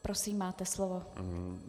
Prosím, máte slovo.